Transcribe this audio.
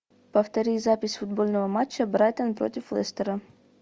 повтори запись футбольного матча брайтон против лестера